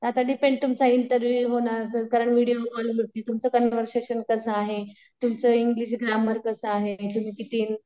आता तुमचा इंटरव्हिव्ह होणार कारण व्हिडीओ कॉल वरती तुमचं कन्व्हर्सेशन कसं आहे? तुमचे इंग्लिश ग्रामर कसं आहे? तम्ही किती